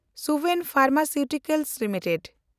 Suven pharmaceuticals limited